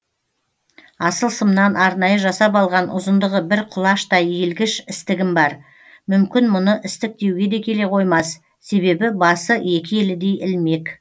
асыл сымнан арнайы жасап алған ұзындығы бір құлаштай иілгіш істігім бар мүмкін мұны істік деуге келе қоймас себебі басы екі елідей ілмек